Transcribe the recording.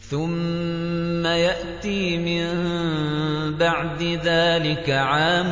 ثُمَّ يَأْتِي مِن بَعْدِ ذَٰلِكَ عَامٌ